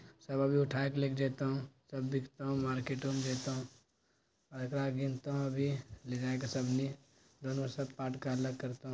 सब अभी उठा के लेके जायतो सब दिखतो मार्केटो में जेतो आय एकरो गिनतो अभी ले जाय के अभी---